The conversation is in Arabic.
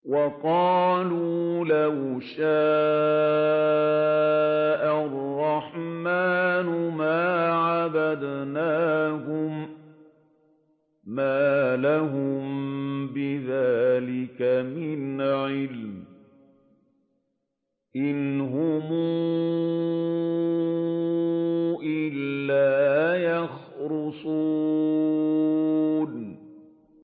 وَقَالُوا لَوْ شَاءَ الرَّحْمَٰنُ مَا عَبَدْنَاهُم ۗ مَّا لَهُم بِذَٰلِكَ مِنْ عِلْمٍ ۖ إِنْ هُمْ إِلَّا يَخْرُصُونَ